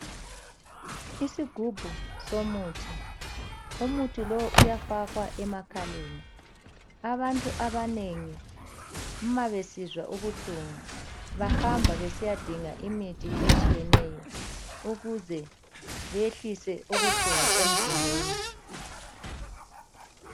Isigubhu somuhi. Umuthi lo uyafakwa emakhaleni. Abantu abanengi uma besizwa ubuhlungu bayahamba besiyadinga imithi ukuze beyehlise ubuhlungu emzimbeni.